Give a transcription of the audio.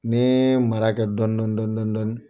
Ni n ye mara kɛ dɔɔnin dɔɔnin dɔɔnin dɔɔnin